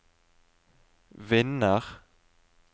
vinner